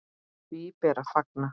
Því ber að fagna.